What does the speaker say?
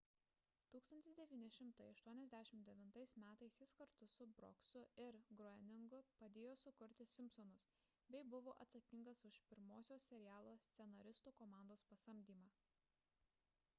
1989 m jis kartu su brooksu ir groeningu padėjo sukurti simpsonus bei buvo atsakingas už pirmosios serialo scenaristų komandos pasamdymą